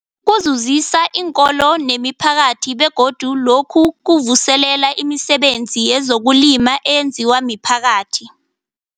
Kuzuzisa iinkolo nemiphakathi begodu lokhu kuvuselela imisebenzi yezokulima eyenziwa miphakathi.